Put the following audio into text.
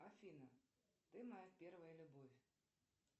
афина ты моя первая любовь